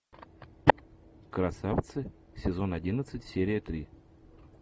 красавцы сезон одиннадцать серия три